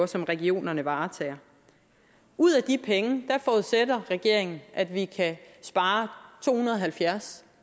som regionerne varetager ud af de penge forudsætter regeringen at vi kan spare to hundrede og halvfjerds